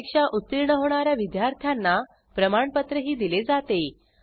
परीक्षा उत्तीर्ण होणा या विद्यार्थ्यांना प्रमाणपत्रही दिले जाते